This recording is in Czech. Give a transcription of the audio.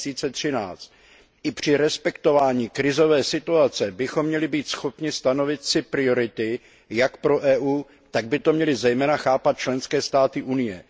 2013. I při respektování krizové situace bychom měli být schopni stanovit si priority jak pro EU, tak by to měly zejména chápat členské státy Unie.